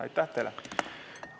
Aitäh teile!